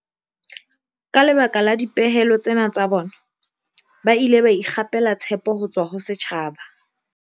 Ka lebaka la dipehelo tsena tsa bona, ba ile ba ikgapela tshepo ho tswa ho setjhaba.